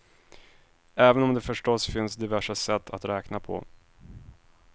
Även om det förstås finns diverse sätt att räkna på.